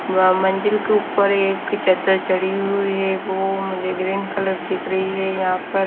व मंजिल के ऊपर एक चद्दर चढ़ी हुई है वो मुझे ग्रीन कलर दिख रही है यहां पर।